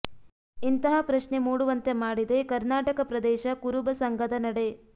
ಇಂತಹ ಪ್ರಶ್ನೆ ಮೂಡುವಂತೆ ಮಾಡಿದೆ ಕರ್ನಾಟಕ ಪ್ರದೇಶ ಕುರುಬ ಸಂಘದ ನಡೆ